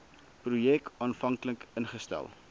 projek aanvanklik ingestel